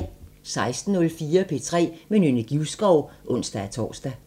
16:04: P3 med Nynne Givskov (ons-tor)